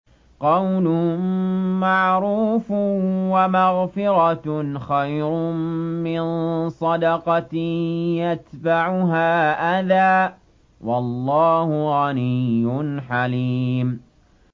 ۞ قَوْلٌ مَّعْرُوفٌ وَمَغْفِرَةٌ خَيْرٌ مِّن صَدَقَةٍ يَتْبَعُهَا أَذًى ۗ وَاللَّهُ غَنِيٌّ حَلِيمٌ